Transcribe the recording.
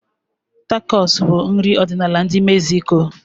Tacos bụ nri ọdịnala ndi Mexico.